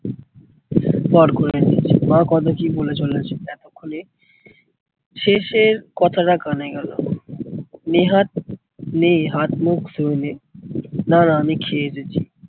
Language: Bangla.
পর করে দিয়েছে। মা কত কি বলে চলেছে এতক্ষনে শেষের কথাটা কানে গেলো। নেহাত নে হাত মুখ ধুয়ে নে। দাঁড়া আমি খে